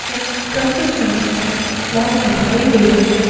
Truck tractor का रंग सफ़ ब्लैक दिखाई दे रहा है।